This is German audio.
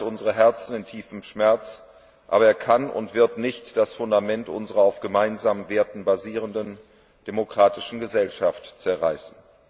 Er zerreißt unsere Herzen in tiefem Schmerz, aber er kann und wird nicht das Fundament unserer auf gemeinsamen Werten basierenden demokratischen Gesellschaft zerreißen.